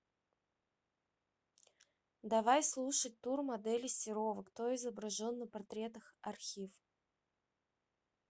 давай слушать тур модели серова кто изображен на портретах архив